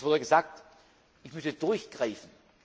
Es wurde gesagt, ich müsse durchgreifen.